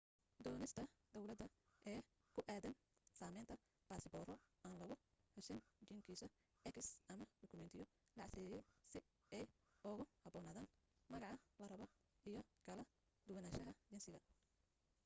doonista dawladda ee ku aadan samaynta basabooro aan lagu xusin jingisa x ama dhokumetiyo la casriyeeyay si ay ugu haboonaadaan magaca la rabo iyo kala duwanaanshaha jinsiga